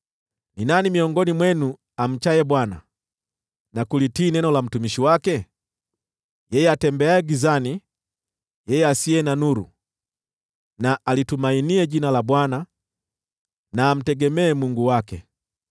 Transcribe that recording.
Ni nani miongoni mwenu amchaye Bwana , na kulitii neno la mtumishi wake? Yeye atembeaye gizani, yeye asiye na nuru, na alitumainie jina la Bwana , na amtegemee Mungu wake.